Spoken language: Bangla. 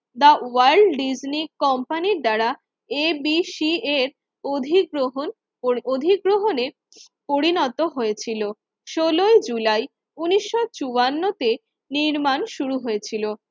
দা ওয়াল্ড ডিজনি কোম্পানি দ্বারা ABC এর অধিগ্রহণ ও অধিগ্রহণের পরিণত হয়েছিল। ষোলোই জুলাই উন্নিশশো চুয়ান্ন তে নির্মাণ শুরু হয়েছিল